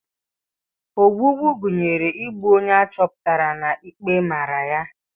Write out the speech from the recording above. Ogbugbu gụnyere igbu onye a chọpụtara na ikpe mara ya.